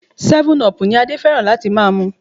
Seven-up ni Adé fẹ́ràn láti máa mu.